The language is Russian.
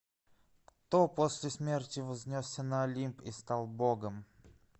кто после смерти вознесся на олимп и стал богом